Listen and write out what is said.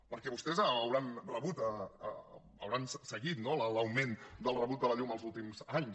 perquè vostès deuen haver rebut deuen haver seguit no l’augment del rebut de la llum els últims anys